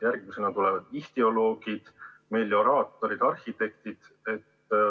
Järgmisena tulevad ihtüoloogid, melioraatorid ja arhitektid.